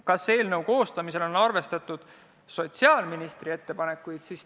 Kas eelnõu koostamisel on arvestatud sotsiaalministri ettepanekuid?